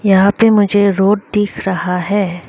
यहां पे मुझे रोड दिख रहा है।